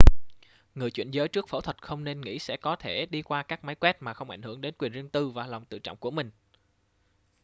người chuyển giới trước phẫu thuật không nên nghĩ sẽ có thể đi qua các máy quét mà không ảnh hưởng đến quyền riêng tư và lòng tự trọng của mình